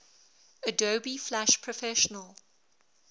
adobe flash professional